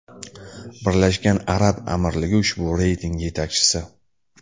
Birlashgan Arab Amirligi ushbu reyting yetakchisi.